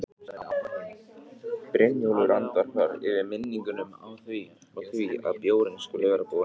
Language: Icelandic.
Brynjólfur andvarpar, yfir minningunum og því að bjórinn skuli vera búinn.